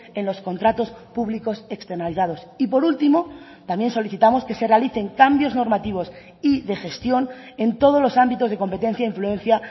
en los contratos públicos externalizados y por último también solicitamos que se realicen cambios normativos y de gestión en todos los ámbitos de competencia e influencia